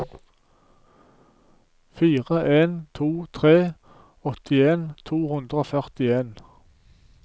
fire en to tre åttien to hundre og førtien